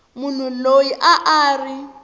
munhu loyi a a ri